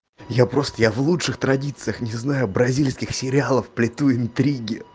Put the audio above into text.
я просто я в лучших традициях не знаю бразильских сериалов плету интриги